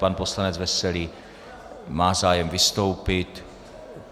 Pan poslanec Veselý má zájem vystoupit.